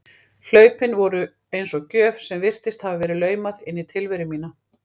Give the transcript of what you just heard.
Hlaupin voru eins og gjöf sem virtist hafa verið laumað inn í tilveru mína.